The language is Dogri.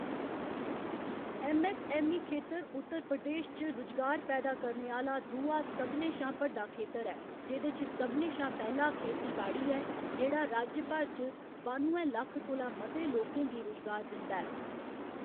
ऐम्म.ऐस्स.ऐम्म.ई. खेतर उत्तर प्रदेश च रुजगार पैदा करने आह्‌‌‌ला दूआ सभनें शा बड्डा खेतर ऐ, जेह्‌‌‌दे च सभनें शा पैह्‌‌ला खेतीबाड़ी ऐ, जेह्‌‌ड़ा राज्य भर च बानुए लक्ख कोला मते लोकें गी रुजगार दिंदा ऐ।